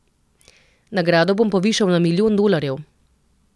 Nagrado bom povišal na milijon dolarjev.